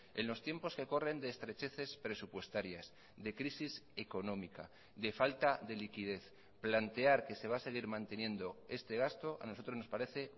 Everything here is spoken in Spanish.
en los tiempos que corren de estrecheces presupuestarias de crisis económica de falta de liquidez plantear que se va a seguir manteniendo este gasto a nosotros nos parece